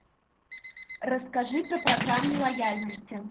расскажи про программу лояльности